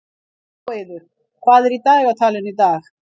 Móeiður, hvað er í dagatalinu í dag?